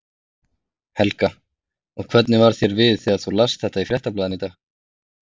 Helga: Og hvernig varð þér við þegar þú last þetta í Fréttablaðinu í dag?